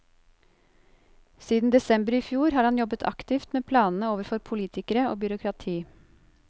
Siden desember i fjor har han jobbet aktivt med planene overfor politikere og byråkrati.